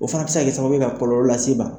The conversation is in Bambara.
O fana bɛ se ka kɛ sababuye ka kɔlɔlɔ lase i ma.